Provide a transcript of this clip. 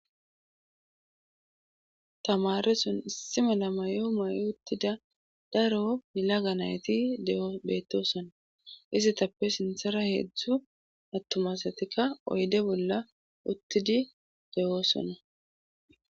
tamare sun issi mela mayo may7o uttida dareo yelaga nayti deo beetosona izi tappe sinthara heedzdzu attumasatika oyde bolla uttidi deoosona